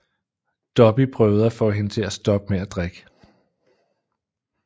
Dobby prøvede at få hende til at stoppe med at drikke